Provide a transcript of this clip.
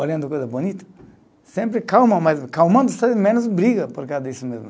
Olhando coisa bonita, sempre calma, mas calmando se é menos briga, por causa disso mesmo.